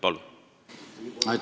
Palun!